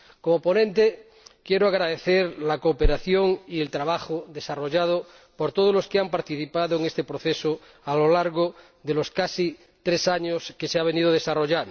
Como ponente, quiero agradecer la cooperación y el trabajo desarrollado por todos los que han participado en este proceso a lo largo de los casi tres años que ha durado.